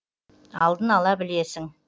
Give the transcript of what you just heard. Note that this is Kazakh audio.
алдын ала білесің